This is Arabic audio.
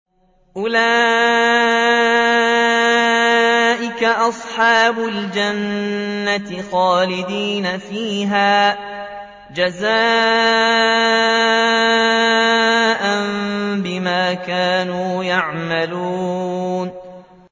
أُولَٰئِكَ أَصْحَابُ الْجَنَّةِ خَالِدِينَ فِيهَا جَزَاءً بِمَا كَانُوا يَعْمَلُونَ